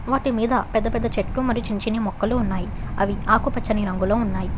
వాటి మీద పెద్ద పెద్ద చెట్లు మరియు చిన్న చిన్న ముక్కలు ఉన్నాయి అవి ఆకుపచ్చని రంగులో ఉన్నాయి.